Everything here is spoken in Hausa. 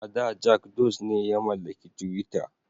A da Jak Dose ne ya mallaki twitter.